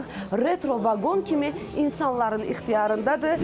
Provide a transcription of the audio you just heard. Artıq retro vaqon kimi insanların ixtiyarındadır.